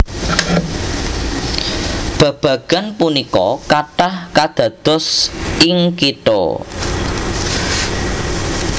Babagan punika kathah kadados ing kitha